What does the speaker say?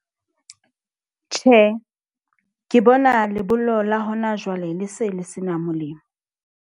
Tjhe, ke bona lebollo la hona jwale le se le sena molemo.